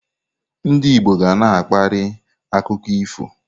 Ndị Igbo ga na-akparị akụkọ ifo.